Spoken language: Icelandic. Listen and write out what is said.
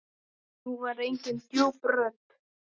Nú var engin djúp rödd.